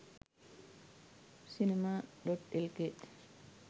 cinema.lk